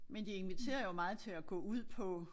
Men det inviterer jo meget til at gå ud på